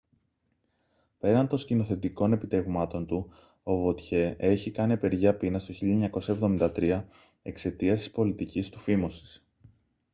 πέραν των σκηνοθετικών επιτευγμάτων του o vautier έχει κάνει απεργία πείνας το 1973 εξαιτίας της πολιτικής του φίμωσης